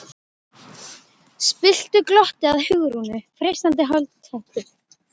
spilltu glotti að Hugrúnu, freistarinn holdi klæddur.